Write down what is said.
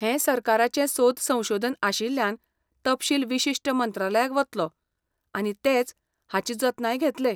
हें सरकाराचें सोद संशोधन आशिल्ल्यान तपशील विशिश्ट मंत्रालयाक वतलो आनी तेच हाची जतनाय घेतले.